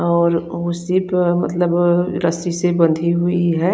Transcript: और उसी पे मतलब रस्सी से बंधी हुई है।